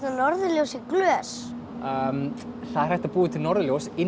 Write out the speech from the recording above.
norðurljós í glös það er hægt að búa til norðurljós inn í